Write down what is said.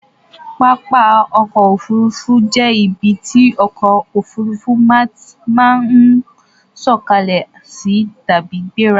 Pápá ọkọ̀ Òfurufú jẹ́ ibi tí ọkọ̀ òfuurufú máa ń sọ̀kalẹ̀ sí tàbí gbéra